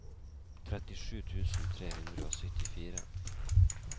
trettisju tusen tre hundre og syttifire